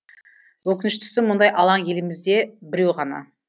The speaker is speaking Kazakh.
өкініштісі мұндай алаң елімізде біреу ғана